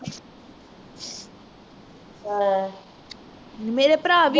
ਮੇਰੇ ਪਰਾ ਵੀ